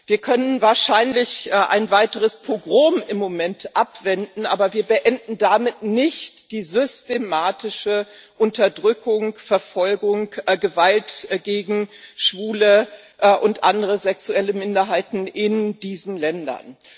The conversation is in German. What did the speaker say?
Wir können wahrscheinlich ein weiteres Pogrom im Moment abwenden, aber wir beenden damit nicht die systematische Unterdrückung, Verfolgung, Gewalt gegen Schwule und andere sexuelle Minderheiten in diesen Ländern.